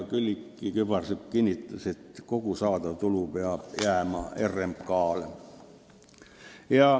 Külliki Kübarsepp kinnitas, et kogu saadav tulu peab jääma RMK-le.